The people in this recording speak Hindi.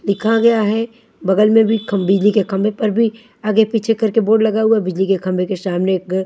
दिखा गया है बगल में भी खम बिजली के खम्बे पर भी आगे पीछे कर के बोर्ड लगा हुआ बिजली के खम्बे के सामने एक घर--